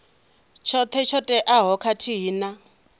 tshoṱhe tsho teaho khathihi na